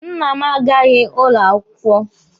Nna m agaghị ụlọ akwụkwọ.